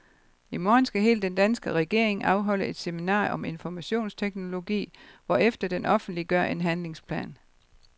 I morgen skal hele den danske regering afholde et seminar om informationsteknologi, hvorefter den offentliggør en handlingsplan.